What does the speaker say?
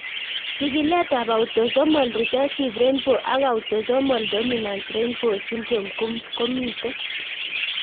Chigilet ab Autosomol recessive rainbow ak Autosomal dominant robinow syndrome komito